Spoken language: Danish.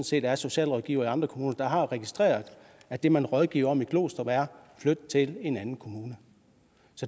set er socialrådgivere i andre kommuner der har registreret at det man rådgiver om i glostrup er at flytte til en anden kommune